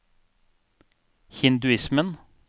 hinduismen